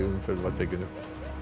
umferð var tekin upp